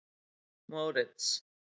Moritz